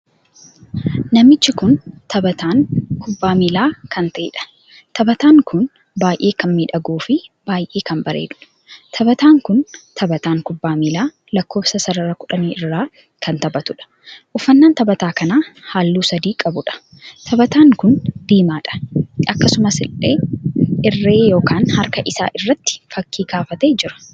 Namtichi kun taphatan kubbaa miillaa kan taheedha. taphatan kun baay'ee kan miidhaguu fin baay'ee kan bareeduudha. taphatan kun taphatan kubbaa miillaa lakkoofsa sarara kudhanii irra kan taphatudha. uffannaan taphataa kanaa halluu sadii qabuudha. taphataan kun diimaadha. akkasumallee irree ykn harka isaa irratti fakkii kaafatee jira.